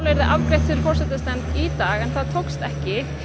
yrði afgreitt fyrir forsætisnefnd í dag en það náðist ekki